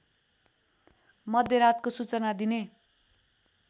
मध्यान्तरको सूचना दिने